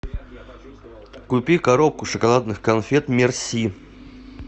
купи коробку шоколадных конфет мерси